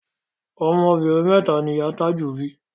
Ọmọ obìnrin mẹ́ta ni ìyá a Tájù bí